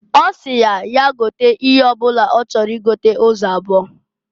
Osi ya, ya gote ihe ọ bụna ọ chọrọ i gota ụzọ abụọ.